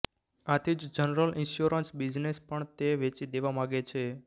આથી જ general insurance business પણ તે વેચી દેવા માગે છે